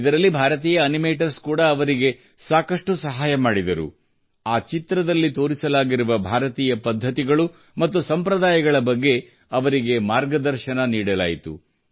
ಇದರಲ್ಲಿ ಭಾರತೀಯ ಅನಿಮೇಟರ್ಸ್ ಕೂಡಾ ಅವರಿಗೆ ಸಾಕಷ್ಟು ಸಹಾಯ ಮಾಡಿದರು ಆ ಚಿತ್ರದಲ್ಲಿ ತೋರಿಸಲಾಗಿರುವ ಭಾರತೀಯ ಪದ್ಧತಿಗಳು ಮತ್ತು ಸಂಪ್ರದಾಯಗಳ ಬಗ್ಗೆ ಅವರಿಗೆ ಮಾರ್ಗದರ್ಶನ ನೀಡಲಾಯಿತು